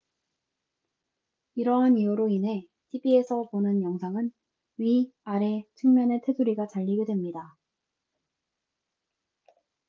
이러한 이유로 인해 tv에서 보는 영상은 위 아래 측면의 테두리가 잘리게 됩니다